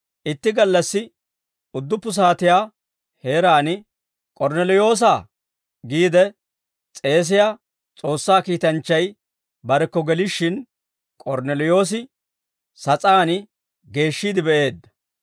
Itti gallassi udduppu saatiyaa heeraan, «K'ornneliyoosa» giide s'eesiyaa S'oossaa kiitanchchay barekko gelishshin, K'ornneliyoosi sas'aan geeshshiide be'eedda.